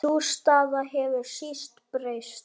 Sú staða hefur síst breyst.